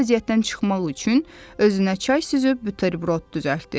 Çətin vəziyyətdən çıxmaq üçün özünə çay süzüb bütərbrod düzəltdi.